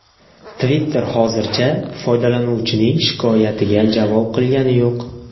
Twitter hozircha foydalanuvchining shikoyatiga javob qilgani yo‘q.